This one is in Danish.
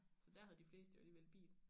Så dér havde de fleste jo alligevel bil